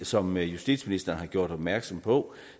som justitsministeren har gjort opmærksom på